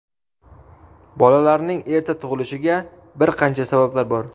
Bolalarning erta tug‘ilishiga bir qancha sabablar bor.